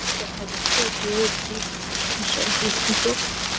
এটি দেখা যাচ্ছে এটিও একটি বিশাল বিস্তৃত ।